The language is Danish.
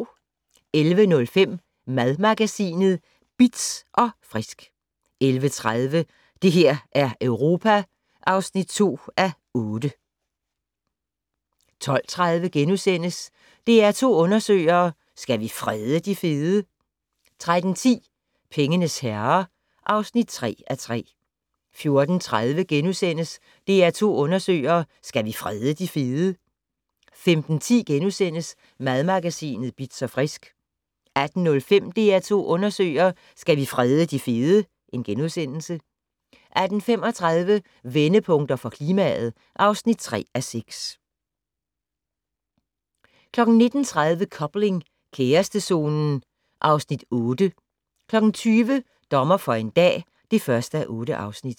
11:05: Madmagasinet Bitz & Frisk 11:30: Det her er Europa (2:8) 12:30: DR2 Undersøger: Skal vi frede de fede? * 13:10: Pengenes herrer (3:3) 14:30: DR2 Undersøger: Skal vi frede de fede? * 15:10: Madmagasinet Bitz & Frisk * 18:05: DR2 Undersøger: Skal vi frede de fede? * 18:35: Vendepunkter for klimaet (3:6) 19:30: Coupling - kærestezonen (Afs. 8) 20:00: Dommer for en dag (1:8)